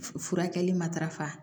Furakɛli matarafa